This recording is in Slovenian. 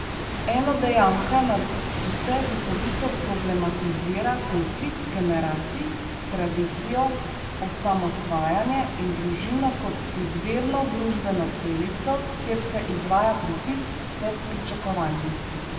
Enodejanka nadvse duhovito problematizira konflikt generacij, tradicijo, osamosvajanje in družino kot izvirno družbeno celico, kjer se izvaja pritisk s pričakovanji.